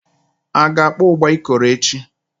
A ga-akpọ ụgba Ikoro echi?